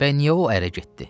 Bəs niyə o ərə getdi?